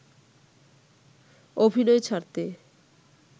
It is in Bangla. অভিনয় ছাড়তে